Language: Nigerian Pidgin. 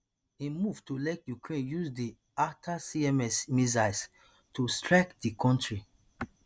im move to let ukraine use di atacms missiles to strike di kontri